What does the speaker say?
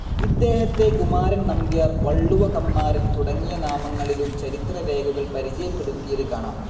ഇദ്ദേഹത്തെ കുമാരൻ നമ്പ്യാർ, വളളുവ കമ്മാരൻ തുടങ്ങിയ നാമങ്ങളിലും ചരിത്ര രേഖകൾ പരിചയപ്പെടുത്തിയത്‌ കാണാം.